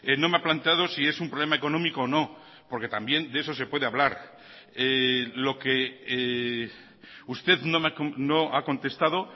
no me ha planteado si es un problema económico o no porque también de eso se puede hablar lo que usted no ha contestado